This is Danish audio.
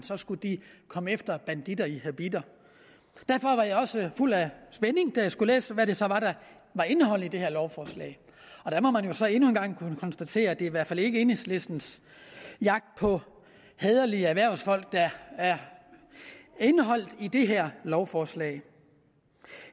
skulle de komme efter banditter i habitter derfor var jeg også fuld af spænding da jeg skulle læse hvad det så var der var indholdet i det her lovforslag der må man jo så endnu en gang kunne konstatere at det i hvert fald ikke er enhedslistens jagt på hæderlige erhvervsfolk der er indeholdt i det her lovforslag